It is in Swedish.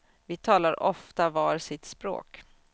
Vi talar ofta var sitt språk.